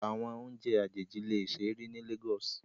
Awọn ounjẹ ajeji le ṣee ri ni Lagos